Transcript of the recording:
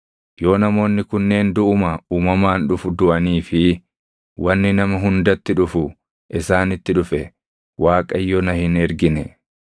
Yoo namoonni kunneen duʼuma uumamaan dhufu duʼanii fi wanni nama hundatti dhufu isaanitti dhufe Waaqayyo na hin ergine.